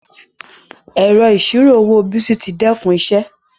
Ẹrọ iṣiro owó Bìsí tì dẹkun iṣẹ